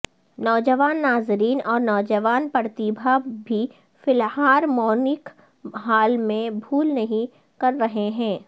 نوجوان ناظرین اور نوجوان پرتیبھا بھی فلہارمونک ہال میں بھول نہیں کر رہے ہیں